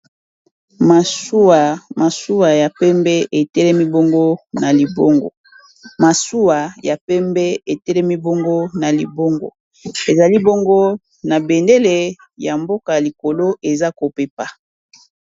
Masuwa ya pembe etelemi bongo na libongo, masuwa ya pembe etelemi bongo na libongo ezali bongo na bendele ya mboka likolo eza ko pepa.